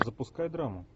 запускай драму